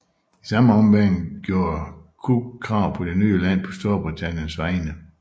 I samme ombæring gjorde Cook krav på det nye land på Storbritanniens vegne